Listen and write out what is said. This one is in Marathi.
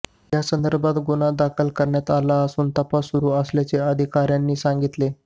यासंदर्भात गुन्हा दाखल करण्यात आला असून तपास सुरू असल्याचे अधिकाऱ्यांनी सांगितले